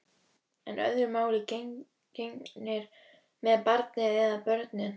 En öðru máli gegnir með barnið. eða börnin.